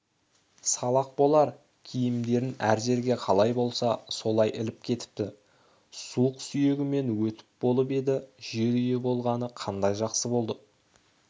салақ болар киімдерін әр жерге қалай болса солай іліп кетіпті суық сүйегімнен өтіп болып еді жер үйі болғаны қандай жақсы болды